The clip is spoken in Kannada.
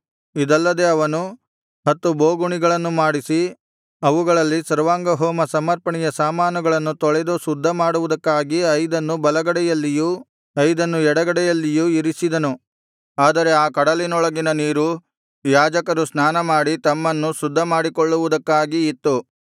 ಇದಲ್ಲದೆ ಅವನು ಹತ್ತು ಬೋಗುಣಿಗಳನ್ನು ಮಾಡಿಸಿ ಅವುಗಳಲ್ಲಿ ಸರ್ವಾಂಗಹೋಮ ಸಮರ್ಪಣೆಯ ಸಾಮಾನುಗಳನ್ನು ತೊಳೆದು ಶುದ್ಧ ಮಾಡುವುದಕ್ಕಾಗಿ ಐದನ್ನು ಬಲಗಡೆಯಲ್ಲಿಯೂ ಐದನ್ನು ಎಡಗಡೆಯಲ್ಲಿಯೂ ಇರಿಸಿದನು ಆದರೆ ಆ ಕಡಲಿನೊಳಗಿನ ನೀರು ಯಾಜಕರ ಸ್ನಾನಮಾಡಿ ತಮ್ಮನ್ನು ಶುದ್ಧಮಾಡಿಕೊಳ್ಳುವುದಕ್ಕಾಗಿ ಇತ್ತು